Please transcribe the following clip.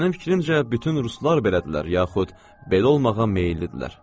Mənim fikrimcə, bütün ruslar belədirlər, yaxud belə olmağa meyillidirlər.